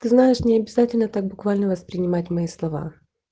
ты знаешь необязательно так буквально воспринимать мои слова